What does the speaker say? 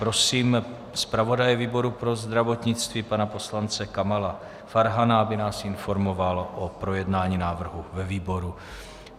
Prosím zpravodaje výboru pro zdravotnictví pana poslance Kamala Farhana, aby nás informoval o projednání návrhu ve výboru.